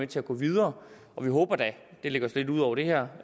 til at gå videre vi håber da det ligger så lidt ud over det her